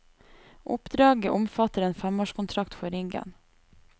Oppdraget omfatter en femårskontrakt for riggen.